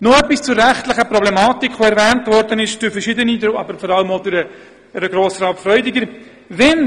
Noch etwas zur rechtlichen Problematik, die verschiedentlich – insbesondere auch von Herrn Grossrat Freudiger – erwähnt wurde.